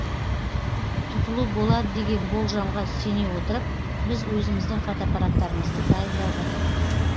тұтылу болады деген болжамға сене отырып біз өзіміздің фотоаппараттарымызды дайындадық